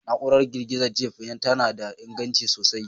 Na'urar girgiza Jeep tana da inganci sosai